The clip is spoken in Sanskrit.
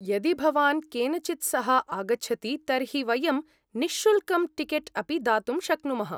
यदि भवान् केनचित् सह आगच्छति तर्हि वयं निःशुल्कं टिकेट् अपि दातुं शक्नुमः।